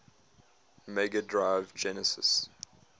mega drive genesis